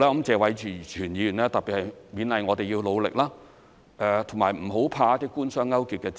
謝偉銓議員特別勉勵我們要努力，不要怕一些官商勾結的指責。